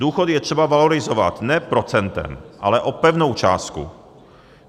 Důchody je třeba valorizovat ne procentem, ale o pevnou částku.